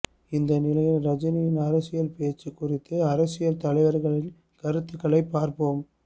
இந்த நிலையில் ரஜினியின் அரசியல் பேச்சு குறித்து அரசியல் தலைவர்களின் கருத்துக்களை பார்ப்போம்